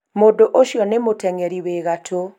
mũndũ ũcio nĩ mũtengeri wĩ gatũ